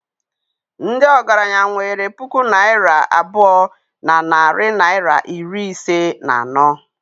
ndị ọgaranya nwere puku naira abụọ na narị naịra iri ise na anọ